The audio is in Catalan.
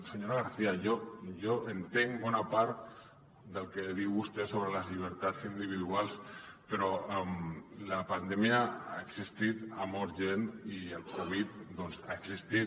senyora garcía jo entenc bona part del que diu vostè sobre les llibertats individuals però la pandèmia ha existit ha mort gent i la covid ha existit